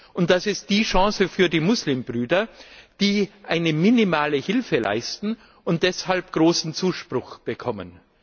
Und das ist die Chance für die Muslimbrüder, die eine minimale Hilfe leisten und deshalb großen Zuspruch bekommen.